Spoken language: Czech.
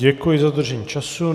Děkuji za dodržení času.